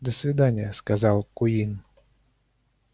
до свидания сказал куинн